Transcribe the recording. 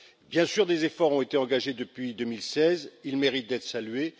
Bien sûr, des efforts ont été engagés depuis 2016, ils méritent d'être salués.